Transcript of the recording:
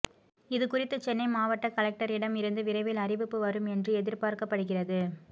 இதுகுறித்து சென்னை மாவட்ட கலெக்டரிடம் இருந்து விரைவில் அறிவிப்பு வரும் என்று எதிர்பார்க்கப்படுகிறது